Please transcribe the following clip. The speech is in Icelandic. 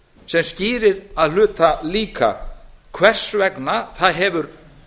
sem skýrir að hluta líka hvers vegna það hefur